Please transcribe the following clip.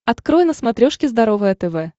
открой на смотрешке здоровое тв